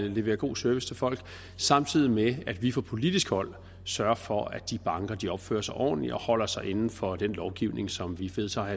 at levere god service til folk samtidig med at vi fra politisk hold sørger for at de banker opfører sig ordentligt og holder sig inden for den lovgivning som vi vedtager